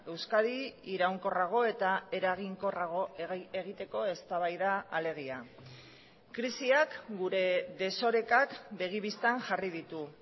euskadi iraunkorrago eta eraginkorrago egiteko eztabaida alegia krisiak gure desorekak begi bistan jarri ditu